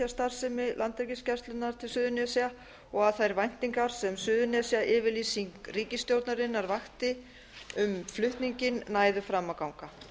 starfsemi landhelgisgæslunnar á suðurnes og að þær væntingar sem suðurnesjayfirlýsing ríkisstjórnarinnar vakti um flutninginn næðu fram að ganga